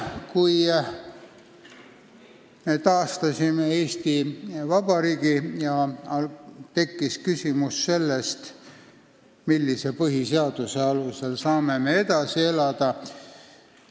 Kui me taastasime Eesti Vabariigi, siis tekkis küsimus, millise põhiseaduse alusel saame me edasi elada.